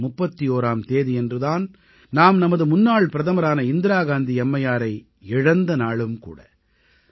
October 31ஆம் தேதியன்று தான் நாம் நமது முன்னாள் பிரதமரான இந்திராகாந்தி அம்மையாரை இழந்த நாளும் கூட